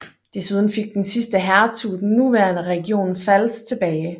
Desuden fik den sidste hertug den nuværende region Pfalz tilbage